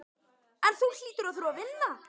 En þú hlýtur að þurfa að vinna